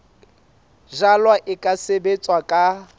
jalwa e ka sebetswa ka